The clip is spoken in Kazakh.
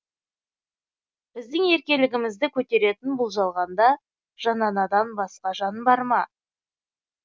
біздің еркелігімізді көтеретін бұл жалғанда жан анадан басқа жан бар ма